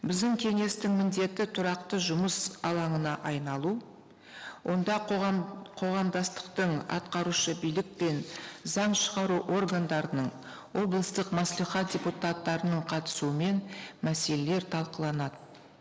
біздің кеңестің міндеті тұрақты жұмыс алаңына айналу онда қоғамдастықтың атқарушы билік пен заң шығару органдарының облыстық мәслихат депутаттарының қатысуымен мәселелер талқыланады